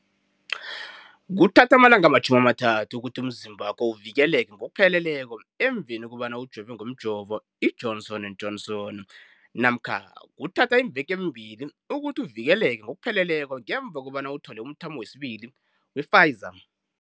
Kuthatha amalanga ama-30 ukuthi umzimbakho uvikeleke ngokupheleleko emveni kobana ujove ngomjovo i-Johnson and Johnson namkha kuthatha iimveke ezimbili ukuthi uvikeleke ngokupheleleko ngemva kobana uthole umthamo wesibili wePfizer.